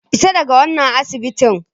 Fita daga wannan asibiti!